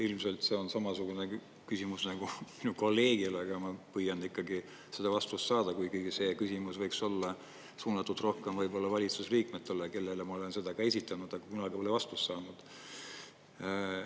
Ilmselt see on samasugune küsimus nagu minu kolleegil, aga ma püüan ikkagi seda vastust saada, kuigi see küsimus võiks olla suunatud rohkem valitsusliikmetele, kellele ma olen seda ka esitanud, aga kunagi pole vastust saanud.